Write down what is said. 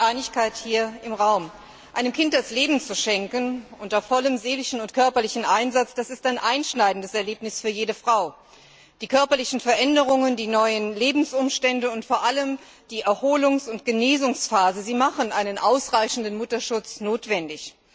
Da herrscht Einigkeit hier im Raum. Einem Kind das Leben zu schenken unter vollem seelischen und körperlichen Einsatz, das ist ein einschneidendes Erlebnis für jede Frau. Die körperlichen Veränderungen, die neuen Lebensumstände und vor allem die Erholungs und Genesungsphase sie machen einen ausreichenden Mutterschutz notwendig.